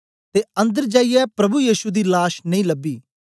ते अन्दर जाईयै प्रभु यीशु दी लाश नेई लबी